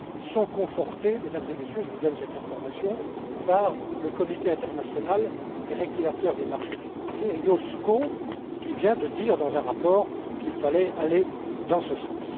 sont confortées Mesdames et Messieurs, je vous donne cette information par le Comité international des régulateurs des marchés financiers, l'IOSCO, qui vient de dire dans un rapport qu'il fallait aller dans ce sens.